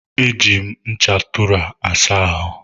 E ji me ncha Tụra asa ahụ